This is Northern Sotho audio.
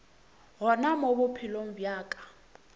gona mo bophelong bja ka